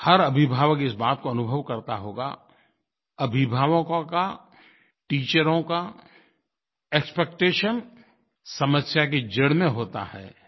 हर अभिभावक इस बात को अनुभव करता होगा अभिभावकों का टीचरों का एक्सपेक्टेशन समस्या की जड़ में होता है